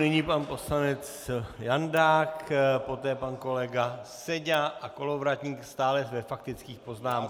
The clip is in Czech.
Nyní pan poslanec Jandák, poté pan kolega Seďa a Kolovratník, stále ve faktických poznámkách.